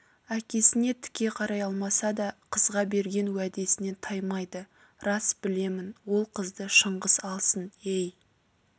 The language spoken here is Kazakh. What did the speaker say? әкесіне тіке қарай алмаса да қызға берген уәдесінен таймады рас білемін ол қызды шыңғыс алсын ей